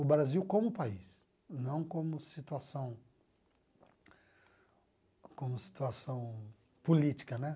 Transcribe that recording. O Brasil como país, não como situação como situação política, né?